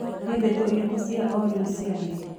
nĩ ndeto ĩrĩkũ cĩa o rĩũ cĩa thĩĩ